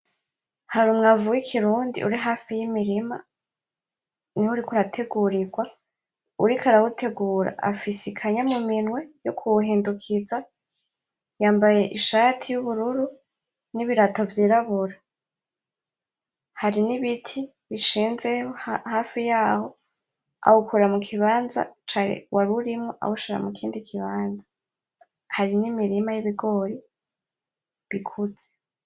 Hari Umwavu w'ikirundi uri hafi y'Imirima, niho uriko urategurirwa uwuriko arawutegura afise ikanya muminwe yo kuwuhindukiza, yambaye Ishati y'ubururu n'ibirato vy'irabura, hari n'ibiti bishinze hafi yaho, awukura mukibanza warurimwo awushira awushira mukindi kibanza hari n'imirima y'ibigori bikuze.